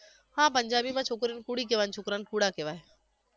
હા પંજાબીમાં છોકરીઓને કુડી કહેવાય અને છોકરાઓને કુડા કહેવાય